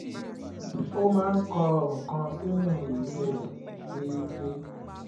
ó máa ń kọ nǹkan sínú ìwé rẹ̀ déédéé